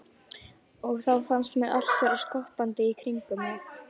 Og þá fannst mér allt vera skoppandi í kringum mig.